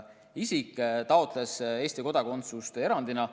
Ta taotles Eesti kodakondsust erandina.